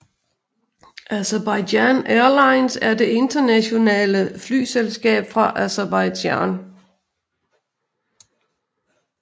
Azerbaijan Airlines er det nationale flyselskab fra Aserbajdsjan